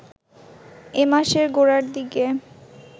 এ মাসের গোড়ার দিকে